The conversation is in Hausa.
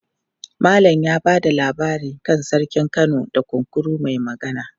Malam ya ba da labari kan Sarkin Kano da Kunkuru mai Magana.